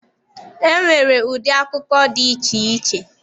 E nwere ụdị akụkọ dị iche iche.